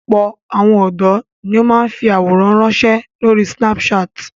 Ọ̀pọ̀ àwọn ọ̀dọ́ ni ó máa ń fi àwòrán ránṣẹ́ lórí Snapchat.